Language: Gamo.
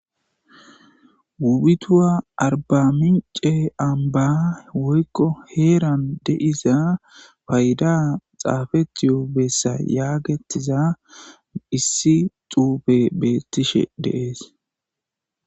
wuputuwa arbamince amba woykko heeran deiza fayda xaafeti yoobessa yaagetiza issi xuufe beettishe deees